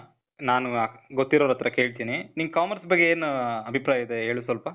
ನಾನು ಗೊತ್ತಿರೋರ್ ಹತ್ರ ಕೇಳ್ತೀನಿ. ನೀನು commerce ಬಗ್ಗೆ ಏನು ಅಭಿಪ್ರಾಯ ಇದೆ ಹೇಳು ಸ್ವಲ್ಪ.